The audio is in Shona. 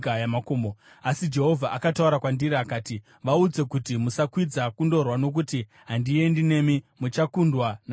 Asi Jehovha akataura kwandiri, akati, “Vaudze kuti, ‘Musakwidza kundorwa, nokuti handiendi nemi. Muchakundwa navavengi venyu.’ ”